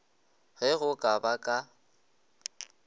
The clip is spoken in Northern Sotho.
ge go ka ba ka